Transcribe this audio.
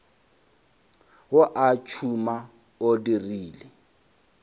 wa o tšhuma o dirile